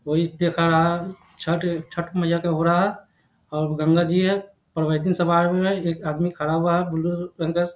छठ-छठ मैया के हो रहा है और गंगा जी है और एक आदमी खड़ा हुआ है --